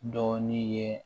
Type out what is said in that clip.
Dɔɔnin ye